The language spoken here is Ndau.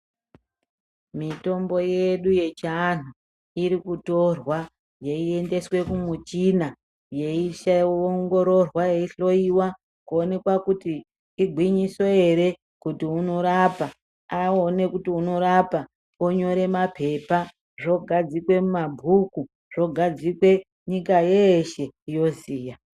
Mitombo yedu yechianhu irikutorwa yeiendeswa kumuchina yeiongororwa yeihloyiwa kuonekwa kuti igwinyiso ere kuti unorapa awone kuti unorapnonyore mapepa zvogadzikwe mumabhuku zvogadzikwe nyika yeshe yoziya.